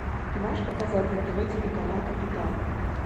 ты можешь показать на тв телеканал капитан